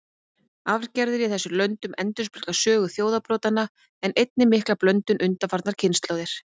Arfgerðir í þessum löndum endurspegla sögu þjóðarbrotanna, en einnig mikla blöndun undanfarnar kynslóðir.